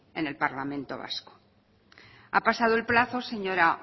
en el parlamento vasco ha pasado el plazo señora